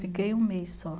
Fiquei um mês só.